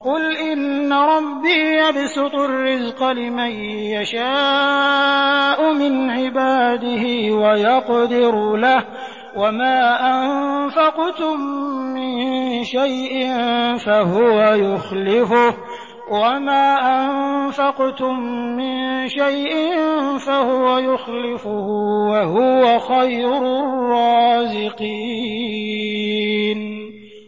قُلْ إِنَّ رَبِّي يَبْسُطُ الرِّزْقَ لِمَن يَشَاءُ مِنْ عِبَادِهِ وَيَقْدِرُ لَهُ ۚ وَمَا أَنفَقْتُم مِّن شَيْءٍ فَهُوَ يُخْلِفُهُ ۖ وَهُوَ خَيْرُ الرَّازِقِينَ